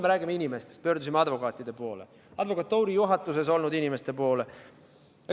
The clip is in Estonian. Me räägime inimestest, me pöördusime advokaatide poole, advokatuuri juhatuses olnud inimeste poole.